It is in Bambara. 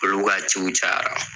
Olu ka ciw cayara